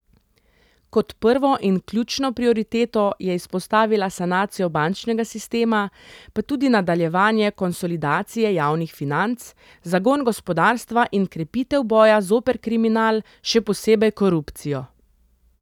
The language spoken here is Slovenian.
Kot prvo in ključno prioriteto je izpostavila sanacijo bančnega sistema pa tudi nadaljevanje konsolidacije javnih financ, zagon gospodarstva in krepitev boja zoper kriminal, še posebej korupcijo.